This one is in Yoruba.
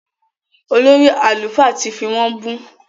Olórí àlùfáà tì fí wọ́n bú